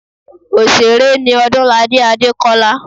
Òsèré ni Odúnladé Adékọ́lá